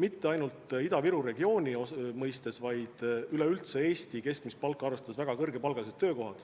mitte ainult Ida-Viru regiooni palku, vaid üleüldse Eesti keskmist palka arvestades väga kõrgepalgalised töökohad.